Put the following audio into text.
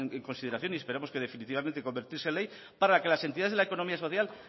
en consideración y esperamos que definitivamente convertirse en ley para que las entidades de la economía social